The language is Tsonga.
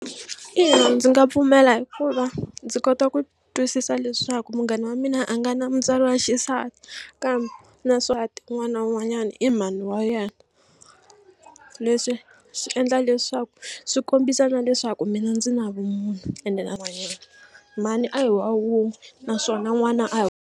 Ina ndzi nga pfumela hikuva ndzi kota ku twisisa leswaku munghana wa mina a nga na mutswari wa xisati kambe na un'wana na un'wanyana i mhani wa yena leswi swi endla leswaku swi kombisa na leswaku mina ndzi na vumunhu ene na yena mhani a hi wa wun'we naswona n'wana a hi.